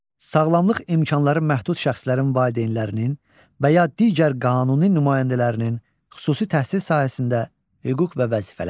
Sağlamlıq imkanları məhdud şəxslərin valideynlərinin və ya digər qanuni nümayəndələrinin xüsusi təhsil sahəsində hüquq və vəzifələri.